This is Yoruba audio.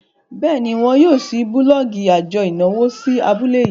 béèni wón yóò ṣii bulọọgi ajo ìnáwó sí abúlé yii.